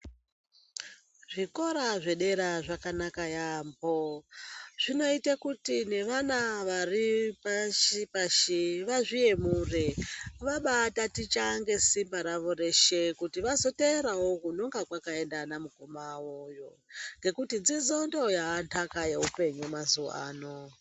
Zvikora zvedera zvakanaka yaampho zvinoita kuti nevana vari pashi pashi vazviyemure . Vabaataticha ngesimba rawo reshe kuti vazoteerawo kunenge kwakaenda anamukoma awoyo . Ngekuti dzidzo ndiyo yaventaka yeupenyu mazuwa ano.